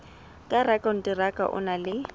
ka rakonteraka o na le